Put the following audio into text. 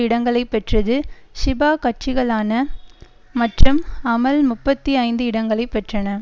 இடங்களை பெற்றது ஷிபா கட்சிகளான மற்றும் அமல் முப்பத்தி ஐந்து இடங்களை பெற்றன